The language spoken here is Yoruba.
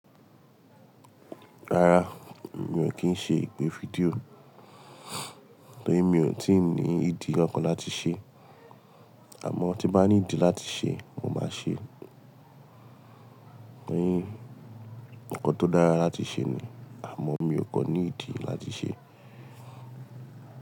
Rárá mi ò kí ń ṣe ìpè fídíò, torí mi ò tí ì ní ìdí ọ̀kan láti ṣe. Àmọ́ tí bá ni ìdí láti ṣe, mo máa ṣe. Torí nǹkan tó dára láti ṣe ni, àmọ́ mi ò kan ní ìdí láti ṣe.